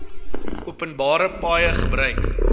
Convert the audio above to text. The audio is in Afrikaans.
openbare paaie gebruik